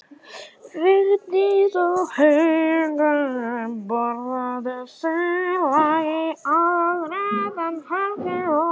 Vigdís og Haukur borðuðu silung í aðalrétt en Helgi og